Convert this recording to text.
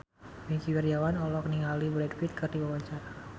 Wingky Wiryawan olohok ningali Brad Pitt keur diwawancara